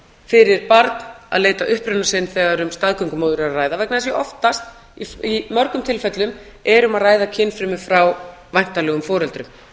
fyrir barn að leita uppruna síns þegar um staðgöngumóður er að ræða vegna þess að oftast í mörgum tilfellum er að ræða kynfrumur frá væntanlegum foreldrum